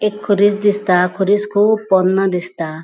एक खुरिस दिसता खुरिस कुब पोंन्नो दिसता.